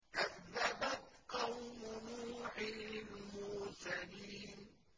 كَذَّبَتْ قَوْمُ نُوحٍ الْمُرْسَلِينَ